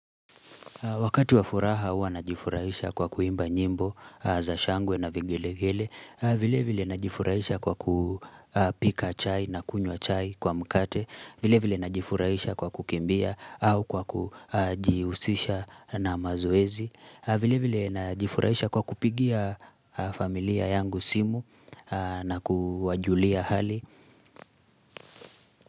Wakati wa furaha hua najifurahisha kwa kuimba nyimbo za shangwe na vigelegele, vile vile na jifurahisha kwa kupika chai na kunywa chai kwa mkate, vile vile na jifurahisha kwa kukimbia au kwa kujihusisha na mazoezi, vile vile na jifurahisha kwa kupigia familia yangu simu na kuwajulia hali.